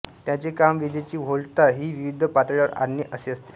त्यांचे काम विजेची व्होल्टता ही विविध पातळ्यांवर आणणे असे असते